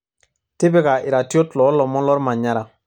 tipika iratiot loolomon lormanyara